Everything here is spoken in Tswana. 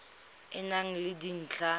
e e nang le dintlha